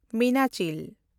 ᱢᱤᱱᱟᱪᱤᱞ